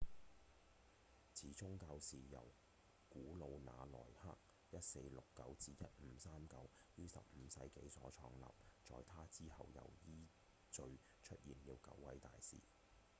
此宗教是由古魯那奈克 1469–1539 於15世紀所創立在他之後又依序出現了九位大師